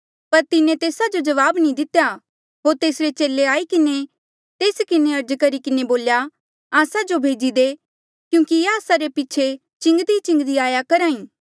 पर तिन्हें तेस्सा जो कोई जवाब नी दितेया होर तेसरे चेले आई किन्हें तेस किन्हें अर्ज करी किन्हें बोल्या एस्सा जो भेजी दे क्यूंकि ये आस्सा रे पीछे चिलान्दीचिलान्दी आया करहा ई